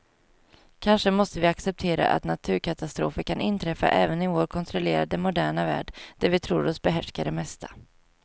Kanske måste vi acceptera att naturkatastrofer kan inträffa även i vår kontrollerade, moderna värld där vi tror oss behärska det mesta.